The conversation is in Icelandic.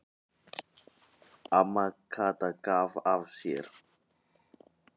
Amma Kata gaf af sér.